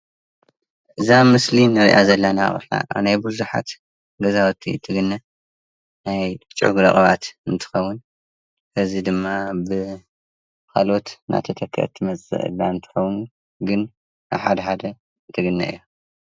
እዛ ኣብ ምስሊ እንሪኣ ዘለና ኣብ ናይ ብዙሓት ገዛውቲ እትግነ ናይ ጨጉሪ ቅብኣት እንትኸውን እዚ ድማ ብካልኦት እንዳተተከአት ትመፅእ ዘላ እትከውን ግን ኣብ ሓደ ሓደ ትግነ እያ።